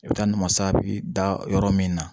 I bɛ taa namasa bɛ da yɔrɔ min na